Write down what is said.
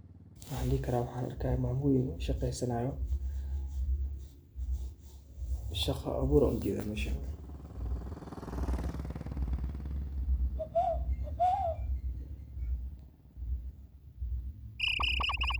Waxan arkahaya meshan mamo yeen shaqeesanayo, shaqoo abuur Aya u jeedah meshan.